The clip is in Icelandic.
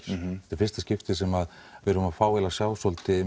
í fyrsta skipti sem við erum að fá að sjá svolítið